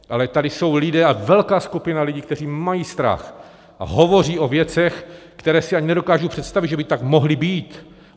Ale tady jsou lidé, a velká skupina lidí, kteří mají strach a hovoří o věcech, které si ani nedokážu představit, že by tak mohly být.